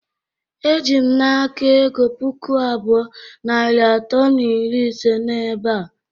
Ejim na aka ego puku abụọ, narị atọ na iri ise na ebea.